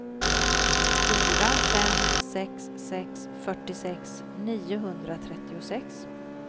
fyra fem sex sex fyrtiosex niohundratrettiosex